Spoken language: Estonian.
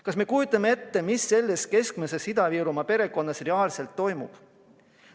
Kas me kujutame ette, mis selles keskmises Ida-Virumaa perekonnas reaalselt toimub?